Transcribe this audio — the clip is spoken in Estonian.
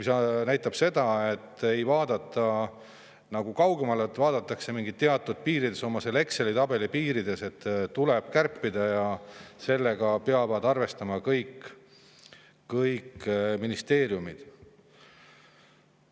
See näitab seda, et ei vaadata kaugemale, vaadatakse mingites teatud piirides, oma Exceli tabeli piirides, et tuleb kärpida ja sellega peavad arvestama kõik ministeeriumid.